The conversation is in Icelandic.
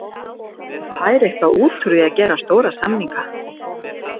Hann fær eitthvað út úr því að gera stóra samninga.